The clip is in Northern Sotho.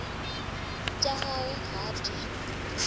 tša gagwe ga a di